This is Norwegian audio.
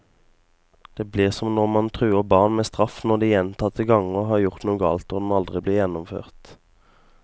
Det blir som når man truer barn med straff når de gjentagende ganger har gjort noe galt, og den aldri blir gjennomført.